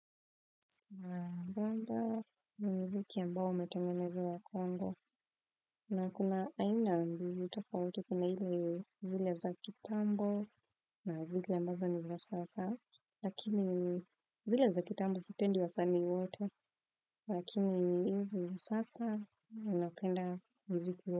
Kwamba ni wiki ambao umetengenezewa kwangu na kuna aina mbili tafauti kuna zile za kitambo na zile ambazo ni za sasa lakini zile za kitambo sipendi wasanii wote lakini hizi za sasa napenda muziki wake.